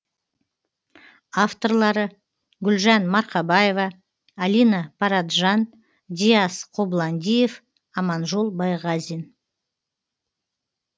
авторлары гүлжан марқабаева алина параджан диас қобландиев аманжол байғазин